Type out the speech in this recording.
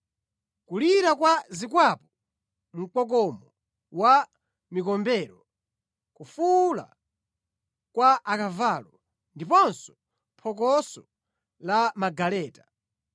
Kulira kwa zikwapu, mkokomo wa mikombero, kufuwula kwa akavalo ndiponso phokoso la magaleta!